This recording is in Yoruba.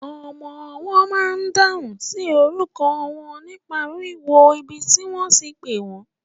Ọmọwọ́ ma n dáhùn sí orúkọ wọn nípa wíwo ibi tí wọ́n ti pẹ́ wọ́n.